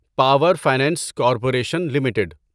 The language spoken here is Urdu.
power finance corporation limited